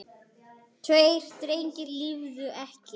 Tveir drengir lifðu ekki.